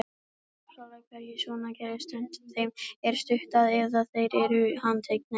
Þegar dópsalar hverfa svona gerist tvennt: Þeim er stútað eða þeir eru handteknir.